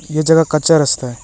यह जगह कच्चा रास्ता है।